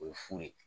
O ye fu ye